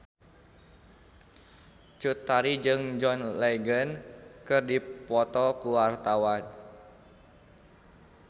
Cut Tari jeung John Legend keur dipoto ku wartawan